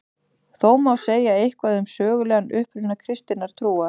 Þó má segja eitthvað um sögulegan uppruna kristinnar trúar.